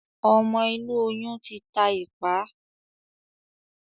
ọmọ inú oyun tí tá ipá.